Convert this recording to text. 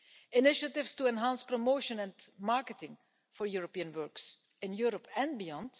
initiatives to enhance promotion and marketing for European books in Europe and beyond